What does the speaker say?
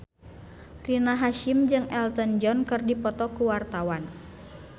Rina Hasyim jeung Elton John keur dipoto ku wartawan